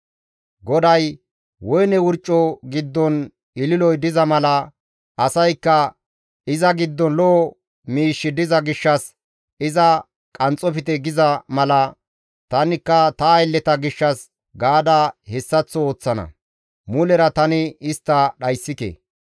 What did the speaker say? GODAY, «Woyne wurco giddon ililoy diza mala asaykka, ‹Iza giddon lo7o miishshi diza gishshas iza qanxxofte› giza mala, tanikka ta aylleta gishshas gaada hessaththo ooththana; mulera tani istta dhayssike.